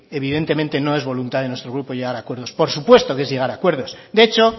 evidentemente no es voluntad de nuestro grupo llegar a acuerdos por supuesto que es llega a acuerdos de hecho